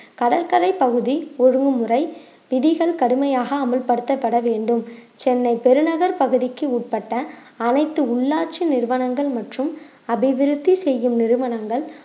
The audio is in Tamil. கடற்கரை பகுதி ஒழுங்குமுறை விதிகள் கடுமையாக அமல்படுத்தப்பட வேண்டும் சென்னை பெருநகர் பகுதிக்கு உட்பட்ட அனைத்து உள்ளாட்சி நிறுவனங்கள் மற்றும் அபிவிருத்தி செய்யும் நிறுவனங்கள்